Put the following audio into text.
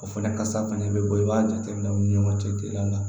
O fana kasa fana bɛ bɔ i b'a jateminɛ u ni ɲɔgɔn cɛ dila ka